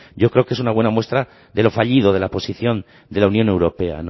yo creo que es una buena muestra de lo fallido de la posición de la unión europea